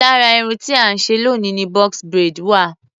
lára irun tí à ń ṣe loni ni box braid wa.